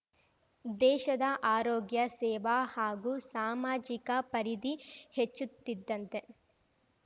ದೇಶದ ಆರೋಗ್ಯ ಸೇವ ಹಾಗೂ ಸಾಮಾಜಿಕ ಪರಿಧಿ ಹೆಚ್ಚುತ್ತಿದ್ದಂತೆ